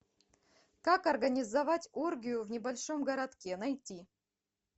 как организовать оргию в небольшом городке найти